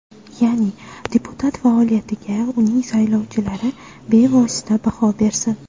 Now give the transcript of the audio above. Ya’ni deputat faoliyatiga uning saylovchilari bevosita baho bersin.